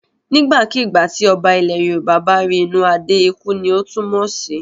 Nígbàkigbà tí Ọba ilẹ̀ Yorùbá bá rí inú adeé ikú ni ó túmọ̀ sí.